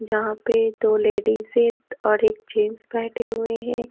जहां पे दो लेडीजे और एक जेंट्स बैठे हुए हैं।